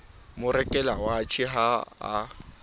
mo rekela watjhe ha a